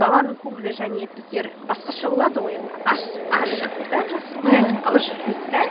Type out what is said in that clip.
баланың көңілі және біздер басқаша болады ғой енді ашық та жасырмай айтып қалады ойын да